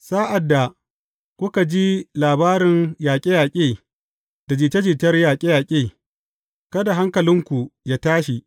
Sa’ad da kuka ji labarun yaƙe yaƙe da jita jitar yaƙe yaƙe, kada hankalinku yă tashi.